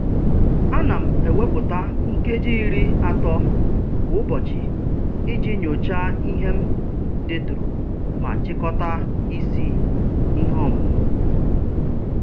Ana m ewepụta nkeji iri ato kwa ụbọchị iji nyochaa ihe m deturu ma chịkọta isi ihe ọmụmụ.